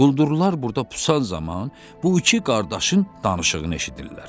Quldurlar burda pusan zaman bu iki qardaşın danışığını eşidirlər.